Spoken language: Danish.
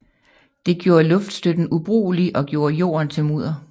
Det gjorde luftstøtten ubrugelig og gjorde jorden til mudder